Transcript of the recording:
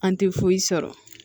An tɛ foyi sɔrɔ